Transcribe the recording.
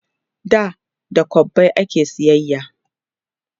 da da kwabbai ake sayayya